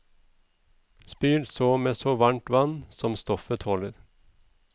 Spyl så med så varmt vann som stoffet tåler.